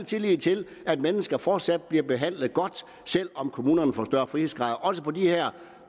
tillid til at mennesker fortsat bliver behandlet godt selv om kommunerne får større frihedsgrader også på de her